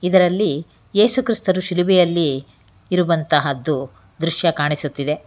ಇದರಲ್ಲಿ ಯೇಸು ಕ್ರೈಸ್ತರು ಶಿಲುಬೆಯಲ್ಲಿ ಇರುವಂತಹದ್ದು ದೃಶ್ಯ ಕಾಣಿಸುತ್ತಿದೆ.